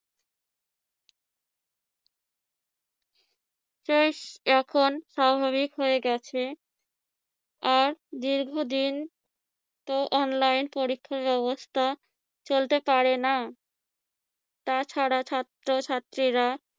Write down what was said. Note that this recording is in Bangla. শেষ এখন স্বাভাবিক হয়ে গেছে আর দীর্ঘদিনতো online পরীক্ষা ব্যবস্থা চলতে পারে না তাছাড়া ছাত্রছাত্রীরা